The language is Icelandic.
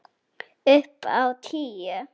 Upp á tíu!